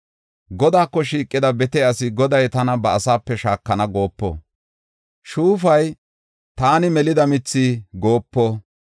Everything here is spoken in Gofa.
Godaako shiiqida bete asi, “Goday tana ba asaape shaakana” goopo; shuufay, “Taani melida mithi” goopo.